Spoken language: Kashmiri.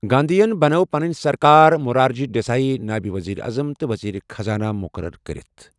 گاندھین بنٲو پَنٕنۍ سرکار مرارجی ڈیسائی نٲیِب وزیر اعظم تہٕ وزیر خزانہ مقرر کٔرِتھ۔